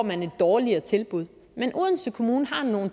man et dårligere tilbud men odense kommune har nogle